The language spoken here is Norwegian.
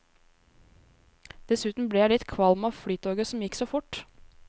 Dessuten ble jeg litt kvalm av flytoget som gikk så fort.